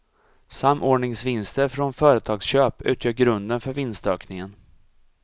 Samordningsvinster från företagsköp utgör grunden för vinstökningen.